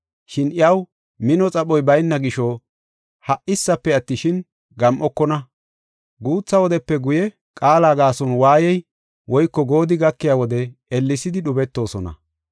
Shin iyaw mino xaphoy bayna gisho ha77issafe attishin, gam7okona. Guutha wodepe guye qaala gaason waayey woyko goodi gakiya wode ellesidi dhubetoosona.